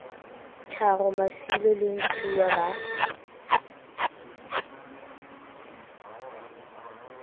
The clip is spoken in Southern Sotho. tharo masilo le ntshiuwa ba